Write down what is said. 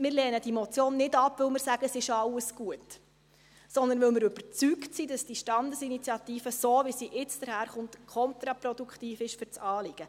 Wir lehnen diese Motion nicht ab, weil wir sagen, es sei alles gut, sondern weil wir überzeugt sind, dass diese Standesinitiative so, wie sie jetzt daherkommt, kontraproduktiv ist für das Anliegen.